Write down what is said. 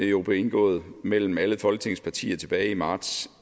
jo blev indgået mellem alle folketingets partier tilbage i marts